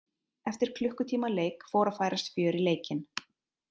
Eftir klukkutíma leik fór að færast fjör í leikinn.